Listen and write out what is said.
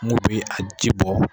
Mun bɛ a ji bɔ.